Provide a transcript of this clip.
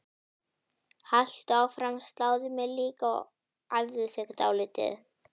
Haltu áfram, sláðu mig líka, æfðu þig dálítið.